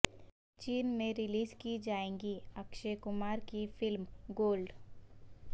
چین میں ریلیز کی جائے گی اکشے کمار کی فلم گولڈ